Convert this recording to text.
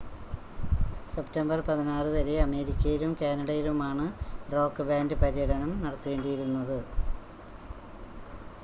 September 16 വരെ അമേരിക്കയിലും കാനഡയിലുമാണ് റോക്ക് ബാൻഡ് പര്യടനം നടത്തേണ്ടിയിരുന്നത്